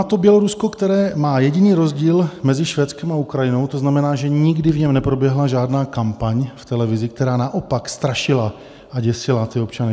A to Bělorusko, které má jediný rozdíl mezi Švédskem a Ukrajinou, to znamená, že nikdy v něm neproběhla žádná kampaň v televizi, která naopak strašila a děsila ty občany.